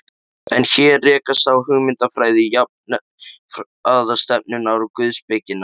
En hér rekast á hugmyndafræði jafnaðarstefnunnar og guðspekinnar.